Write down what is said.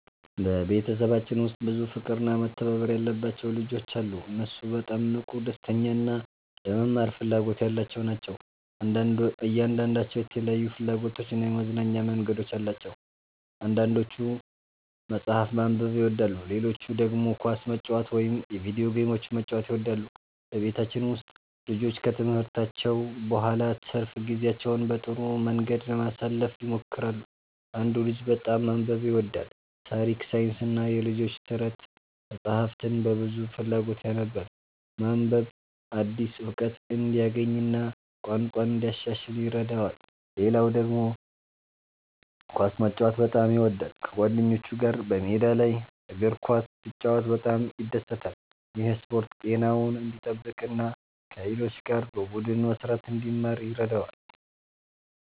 በቤተሰባችን ውስጥ ብዙ ፍቅርና መተባበር ያለባቸው ልጆች አሉ። እነሱ በጣም ንቁ፣ ደስተኛ እና ለመማር ፍላጎት ያላቸው ናቸው። እያንዳንዳቸው የተለያዩ ፍላጎቶችና የመዝናኛ መንገዶች አሏቸው። አንዳንዶቹ መጽሐፍ ማንበብ ይወዳሉ፣ ሌሎቹ ደግሞ ኳስ መጫወት ወይም የቪዲዮ ጌሞችን መጫወት ይወዳሉ። በቤታችን ውስጥ ልጆቹ ከትምህርታቸው በኋላ ትርፍ ጊዜያቸውን በጥሩ መንገድ ለማሳለፍ ይሞክራሉ። አንዱ ልጅ በጣም ማንበብ ይወዳል። ታሪክ፣ ሳይንስና የልጆች ተረት መጻሕፍትን በብዙ ፍላጎት ያነባል። ማንበብ አዲስ እውቀት እንዲያገኝ እና ቋንቋውን እንዲያሻሽል ይረዳዋል። ሌላው ልጅ ደግሞ ኳስ መጫወት በጣም ይወዳል። ከጓደኞቹ ጋር በሜዳ ላይ እግር ኳስ ሲጫወት በጣም ይደሰታል። ይህ ስፖርት ጤናውን እንዲጠብቅ እና ከሌሎች ጋር በቡድን መስራትን እንዲማር ይረዳዋል።